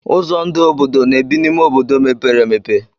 Ụzọ ndụ obodo na-ebi n'ime obodo mepere emepe.